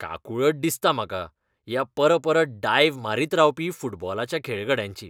काकूळट दिसता म्हाका ह्या परपरत डायव मारीत रावपी फुटबॉलाच्या खेळगड्यांची.